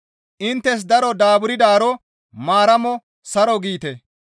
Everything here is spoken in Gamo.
Inttes daro daaburdaaro Maaramo saro giite.